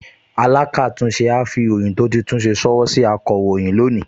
Alákàtúnṣe á fi ìròyìn tó ti tún ṣe ṣọwọ́ sí akọ̀ròyìn ní òní